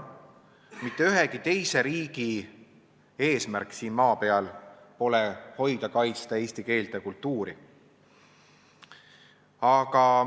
Mitte ühegi teise riigi eesmärk siin maa peal pole hoida-kaitsta eesti keelt ja kultuuri.